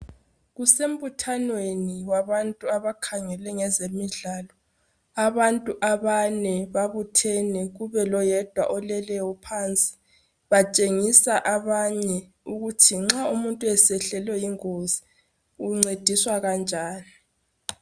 Kusembuthanweni wabantu abakhangele ngezemidlalo. Abantu abane babuthene kube loyedwa oleleyo phansi batshengisa abanye ukuthi nxa umuntu esehlelwe yingozi uncediswa kanjani.